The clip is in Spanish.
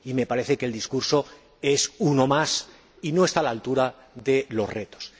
Y me parece que el discurso es uno más y no está a la altura de los retos.